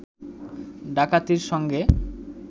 ডাকাতির সঙ্গে